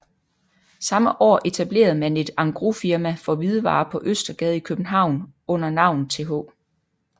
Samme år etablerede man et engrosfirma for hvidevarer på Østergade i København under navnet Th